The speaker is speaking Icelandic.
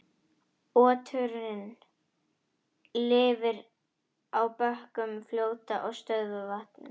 Oturinn lifir á bökkum fljóta og stöðuvatna.